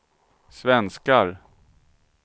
svenskar